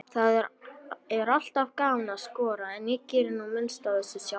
Það er alltaf gaman að skora, en ég geri nú minnst af þessu sjálfur.